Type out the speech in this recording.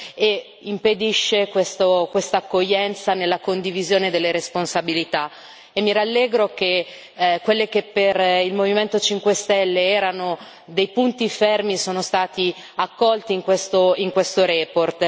e impedisce questa accoglienza nella condivisione delle responsabilità e mi rallegro che, quelli che per il Movimento 5 stelle erano dei punti fermi, siano stati accolti in questa relazione.